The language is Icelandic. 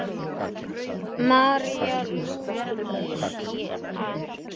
María Lúísa.